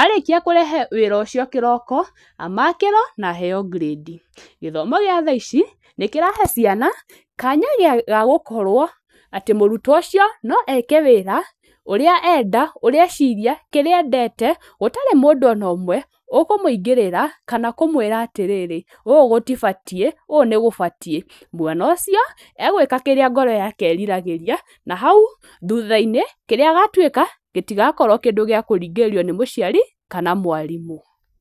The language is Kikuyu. arĩkia kũrehe wĩra ũcio kĩroko, amakĩrwo na aheo ngirendi. Gĩthomo gĩa thaa ici nĩ kĩrahe ciana kanya ga gũkorwo atĩ mũrutwo ũcio no eke wĩra ũrĩa enda, ũrĩa eciria, kĩrĩa endete, gũtarĩ na mũndũ ona ũmwe ũkũmũingĩrĩra kana kũmwĩra atĩrĩrĩ, ũũ gũtibatiĩ, ũũ nĩ gũbatiĩ. Mwana ũcio, egwĩka kĩrĩa ngoro yake ĩriragĩria, na hau thutha-inĩ, kĩrĩa agatuĩka gĩtigakorwo kĩndũ gĩa kũringĩrĩrio nĩ mũciari kana mwarimũ.